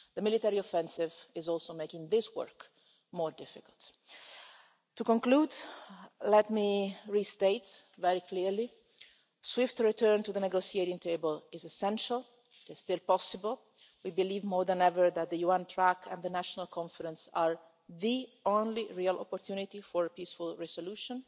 The military offensive is also making this work more difficult. To conclude, let me restate very clearly, a swift return to the negotiating table is essential, it is still possible. We believe more than ever that the UN track and the National Conference are the only real opportunity for a peaceful resolution.